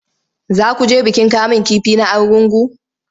Za ku je bikin kamun kifi na Argungu?